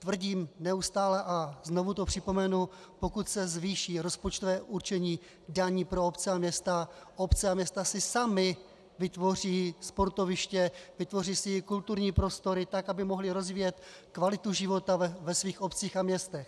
Tvrdím neustále, a znovu to připomenu, pokud se zvýší rozpočtové určení daní pro obce a města, obce a města si samy vytvoří sportoviště, vytvoří si kulturní prostory tak, aby mohly rozvíjet kvalitu života ve svých obcích a městech.